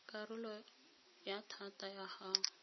karolo ya thata ya go